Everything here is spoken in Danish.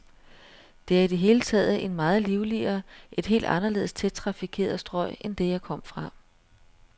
Det er i det hele taget et meget livligere, et helt anderledes tæt trafikeret strøg end det, jeg kom fra.